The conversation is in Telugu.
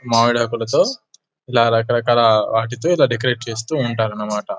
మావిడాకులతో ఇలా రకరకాల వాటితో ఇలా డెకరేట్ చేస్తూ ఉంటారన్నమాట.